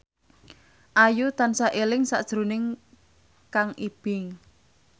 Ayu tansah eling sakjroning Kang Ibing